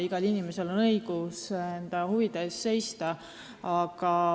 Igal inimesel on õigus enda huvide eest seista.